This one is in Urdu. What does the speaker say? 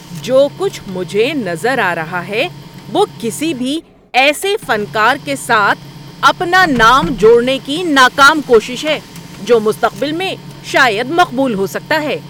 جو کچھ مجھے نظر آ رہا ہے وہ کسی بھی ایسے فنکار کے ساتھ اپنا نام جوڑنے کی ناکام کوشش ہے جو مستقبل میں شاید مقبول ہو سکتا ہے۔